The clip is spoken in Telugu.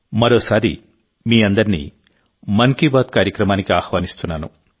మరోసారి మీ అందరినీ మన్ కీ బాత్ కార్యక్రమానికి ఆహ్వానిస్తున్నాను